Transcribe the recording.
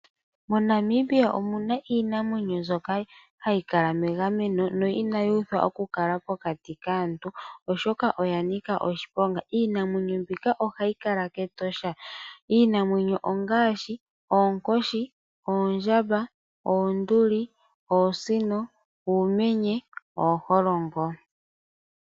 MoNamibia omuna iinamwenyo mbyoka hayi kala megameno noinayi uthwa okukala pokati kaantu oshoka oya nika oshiponga. Iinamwenyo mbika ohayi kala kEtosha iinamwenyo ongaashi oonkoshi, oondjamba, oonduli, oosino, uumenye nooholongo.